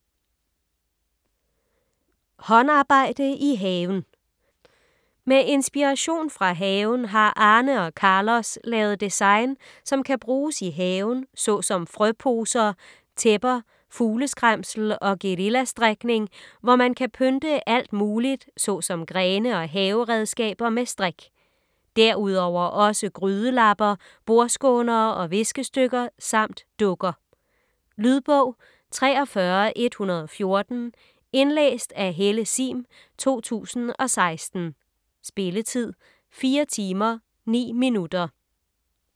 Håndarbejde i haven Med inspiration fra haven har Arne og Carlos lavet design som kan bruges i haven såsom frøposer, tæpper, fugleskræmsel og guerillastrikning, hvor man kan pynte alt muligt såsom grene og haveredskaber med strik. Derudover også grydelapper, bordskånere og viskestykker samt dukker. Lydbog 43114 Indlæst af Helle Sihm, 2016. Spilletid: 4 timer, 9 minutter.